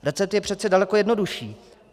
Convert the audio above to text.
Recept je přece daleko jednodušší.